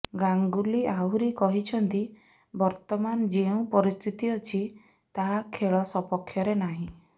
ଗାଙ୍ଗୁଲି ଆହୁରି କହିଛନ୍ତି ବର୍ତ୍ତମାନ ଯେଉଁ ପରିସ୍ଥିତି ଅଛି ତାହା ଖେଳ ସପକ୍ଷରେ ନାହିଁ